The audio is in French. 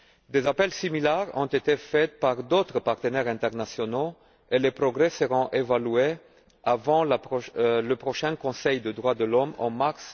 Des appels similaires ont été faits par d'autres partenaires internationaux, et les progrès seront évalués avant le prochain Conseil des droits de l'homme, en mars